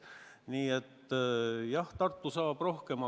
Nii et jah, Tartu saab rohkem.